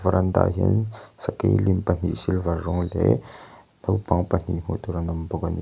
veranda ah hian sakei lim pahnih silver rawng leh naupang pahnih hmuh tur an awm bawk ani.